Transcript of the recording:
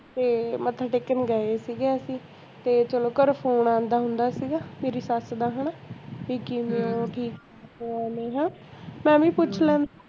ਤੇ ਮੱਥਾ ਟੇਕਣ ਗਏ ਸੀਗੇ ਅਸੀਂ ਤੇ ਚਲੋ ਘਰੋਂ phone ਆਉਂਦਾ ਹੁੰਦਾ ਸੀਗਾ ਮੇਰੀ ਸੱਸ ਦਾ ਹੈਨਾ ਕਿ ਕਿਵੇਂ ਓ ਠੀਕ ਓ ਹੈਨਾ ਉਂਵੇ ਹੀ ਪੁੱਛ ਲੈਣ